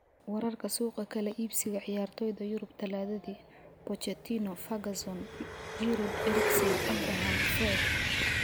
Wararka suuqa kala iibsiga ciyaartoyda Yurub Talaadadii: Pochettino, Ferguson, Giroud, Eriksen, Abraham, Fred.